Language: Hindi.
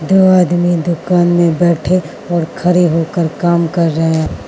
दो आदमी दुकान में बैठे और खड़े होकर काम कर रहे--